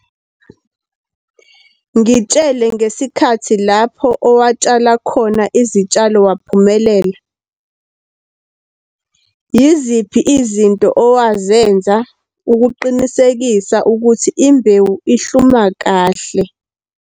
Ngitshele ngesikhathi lapho owatshala khona izitshalo waphumelela. Yiziphi izinto owazenza ukuqinisekisa ukuthi imbewu ihluma kahle?